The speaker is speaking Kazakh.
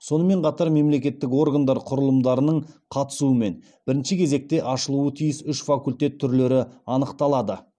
сонымен қатар мемлекеттік органдар құрылымдарының қатысуымен бірінші кезекте ашылуы тиіс үш факультет түрлері анықталады